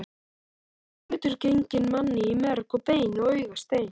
Hver hlutur genginn manni í merg og bein og augastein.